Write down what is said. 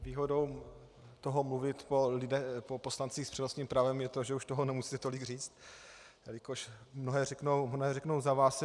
Výhodou toho mluvit po poslancích s přednostním právem je to, že už toho nemusíte tolik říct, jelikož mnohé řeknou za vás.